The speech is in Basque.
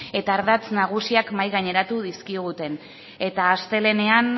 eta ardatz nagusiak mahai gaineratu dizkiguten eta astelehenean